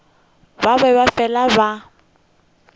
ba be ba fele ba